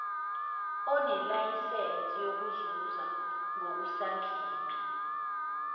onelayisensi yokuzuza ngokusansimbi